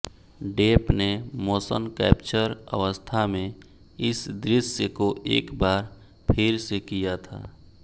Depp ने motion capture अवस्था में इस दृश्य को एक बार फिर से किया था